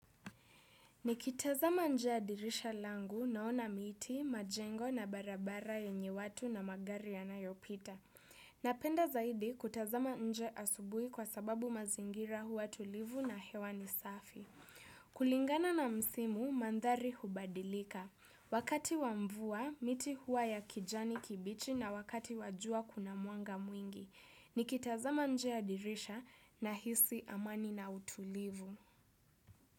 Nikitazama nje ya dirisha langu naona miti, majengo na barabara yenye watu na magari yanayopita. Napenda zaidi kutazama nje asubui kwa sababu mazingira huwa tulivu na hewa ni safi. Kulingana na msimu, mandhari hubadilika. Wakati wa mvua, miti huwa ya kijani kibichi na wakati wa jua kuna mwanga mwingi. Nikitazama nje ya dirisha na hisi amani na utulivu.